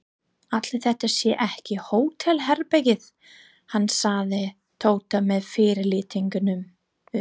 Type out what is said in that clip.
Ætli þetta sé ekki hótelherbergið hans sagði Tóti með fyrirlitningu.